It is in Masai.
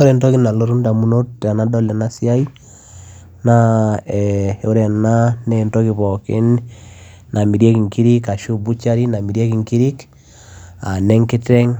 ore entoki nalotu ndamut tenadol ena siai naa eeh ore ena naa entoki pookin namirieki inkiri ashu butchery namirieki nkirik aa ne nkiteng,